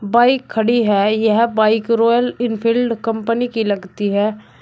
Bike खड़ी है यह बाइक रॉयल एनफील्ड कंपनी की लगती है।